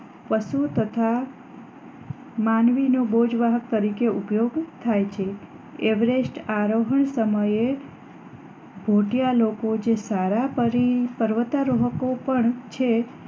પશુ તથા માનવી નો બોજ વાહક તરીકે ઉપયોગ થાય છે એવેરેસ્ટ આરોહ સમયે ભોટિયા લોકો જે સારા સારા પર્વતીય રોહકો પણ છે